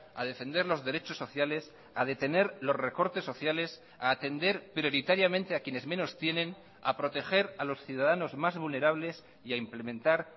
a defender los derechos sociales a detener los recortes sociales a atender prioritariamente a quienes menos tienen a proteger a los ciudadanos más vulnerables y a implementar